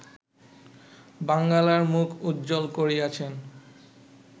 বাঙ্গালার মুখ উজ্জ্বল করিয়াছেন